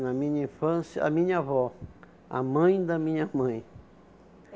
na minha infância, a minha avó, a mãe da minha mãe.